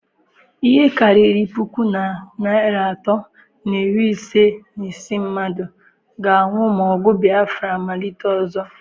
Ihe karịrị puku na narị atọ na iri isii na ise mmadụ ga-anwụ ma ọgụ Biafra malite ọzọ.